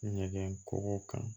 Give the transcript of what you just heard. Ɲɛgɛn kɔgɔ kan